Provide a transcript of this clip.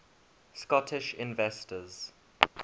scottish inventors